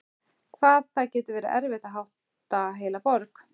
Hvað það getur verið erfitt að hátta heila borg!